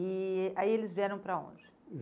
E aí eles vieram para onde?